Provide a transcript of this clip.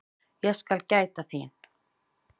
Ég skal gæta þín.